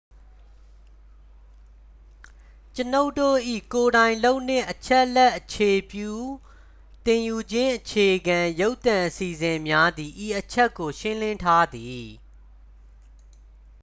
ကျွန်ုပ်တို့၏ ကိုယ်တိုင်လုပ်နှင့် အချက်အလက် အခြေပြု သင်ယူခြင်းအခြေခံ ရုပ်သံအစီအစဉ်များသည် ဤအချက်ကို ရှင်းလင်းထားသည်